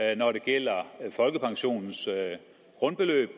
er når det gælder folkepensionens grundbeløb